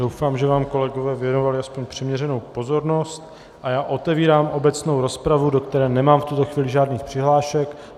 Doufám, že vám kolegové věnovali aspoň přiměřenou pozornost, a já otevírám obecnou rozpravu, do které nemám v tuto chvíli žádných přihlášek.